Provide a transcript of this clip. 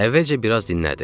Əvvəlcə biraz dinlədi.